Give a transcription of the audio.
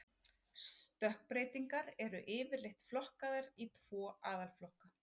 Stökkbreytingar eru yfirleitt flokkaðar í tvo aðalflokka.